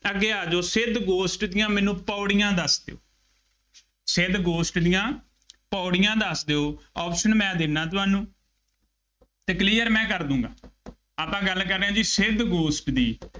ਅੱਗੇ ਆ ਜਾਉ, ਸਿੱਧ ਗੋਸ਼ਟ ਦੀਆਂ ਮੈਨੂੰ ਪੌੜੀਆਂ ਦੱਸ ਦਿਉ ਸਿੱਧ ਗੋਸ਼ਟ ਦੀਆਂ ਪੌੜੀਆਂ ਦੱਸ ਦਿਉ, option ਮੈਂੰ ਦਿੰਦਾ ਤੁਹਾਨੂੰ ਅਤੇ clear ਮੈਂ ਕਰ ਦੇਊਗਾ, ਆਪਾਂ ਗੱਲ ਕਰ ਰਹੇ ਹਾਂ ਜੀ ਸਿੱਧ ਗੋਸ਼ਟ ਦੀ